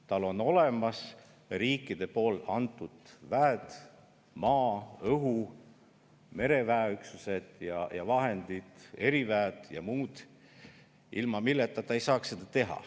Tal on olemas riikide poolt antud väed – maa-, õhu-, mereväeüksused ja vahendid, eriväed ja muud –, ilma milleta ta ei saaks seda teha.